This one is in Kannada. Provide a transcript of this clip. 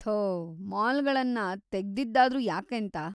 ಥೋ! ಮಾಲ್ಗಳನ್ನ ತೆಗ್ದಿದ್ದಾದ್ರೂ ಯಾಕೇಂತ?